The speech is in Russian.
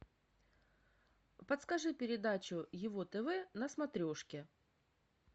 подскажи передачу его тв на смотрешке